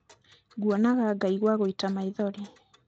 nguonaga ngaigua gũita maithori